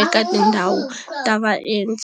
eka tindhawu ta va endzi.